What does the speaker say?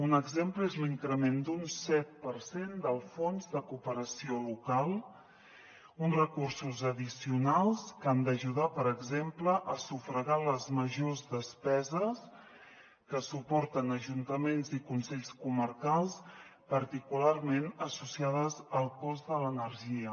un exemple és l’increment d’un set per cent del fons de cooperació local uns recursos addicionals que han d’ajudar per exemple a sufragar les majors despeses que suporten ajuntaments i consells comarcals particularment associades al cost de l’energia